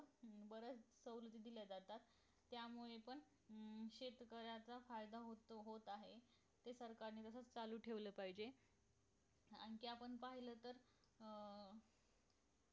अं बऱ्याच सवलती दिल्या जातात त्यामुळे पण अं शेतकरयाच फायदा होतो होत आहे म्हणजे सरकारने चालू ठेवले पाहिजे आणखी आपण पाहिलं तर अं